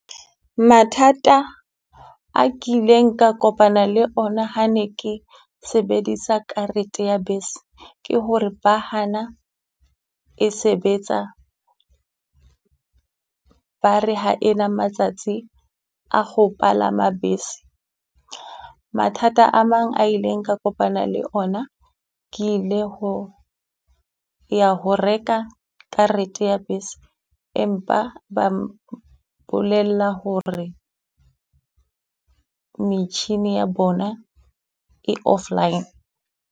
Mathata a kileng ka kopana le ona ha ne ke sebedisa karete ya bese, ke hore ba hana e sebetsa ba re ha e na matsatsi a ho palama bese. Mathata a mang a ileng ka kopana le ona, ke ile ho ya ho reka karete ya bese, empa ba mpolella hore metjhini ya bona e offline.